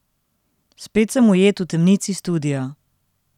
Spet sem ujet v temnici studia.